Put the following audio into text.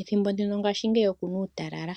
Ethimbo ndino ngaashingeyi oku na uutalala,